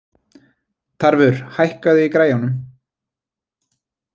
Tarfur, hækkaðu í græjunum.